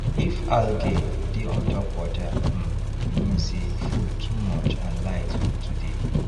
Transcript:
if algae dey on top water um e mean say food too much and light no too dey